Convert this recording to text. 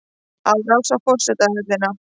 Árás á forsetahöllina